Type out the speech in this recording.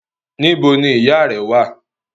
Níbo ni ìyáà rẹ́ wà?